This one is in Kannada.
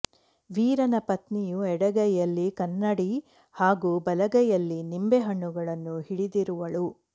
ವೀರನ ಪತ್ನಿಯು ಎಡಗೈಯಲ್ಲಿ ಕನ್ನಡಿ ಹಾಗೂ ಬಲಗೈಯಲ್ಲಿ ನಿಂಬೆ ಹಣ್ಣುಗಳನ್ನು ಹಿಡಿದಿರುವಳು